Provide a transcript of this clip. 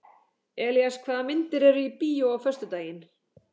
Elías, hvaða myndir eru í bíó á föstudaginn?